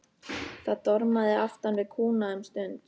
Það dormaði aftan við kúna um stund.